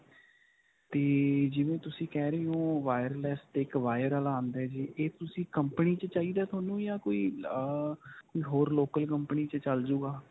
ਤੇ ਜਿਵੇਂ ਤੁਸੀਂ ਕਹਿ ਰਹੇ ਹੋ wireless ਤੇ ਇੱਕ wire ਵਾਲਾ ਆਉਂਦਾ ਹੈ ਜੀ ਇਹ ਤੁਸੀਂ company 'ਚ ਚਾਹੀਦੀ ਹੈ ਤੁਹਾਨੂੰ ਜਾਂ ਕੋਈ ਅਅ ਕੋਈ ਹੋਰ local company 'ਚ ਚਲ ਜੁਗਾ.